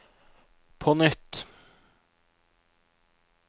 på nytt